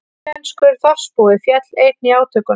Taílenskur þorpsbúi féll einnig í átökunum